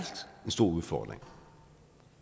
en stor udfordring